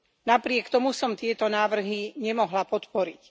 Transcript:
Napriek tomu som tieto návrhy nemohla podporiť.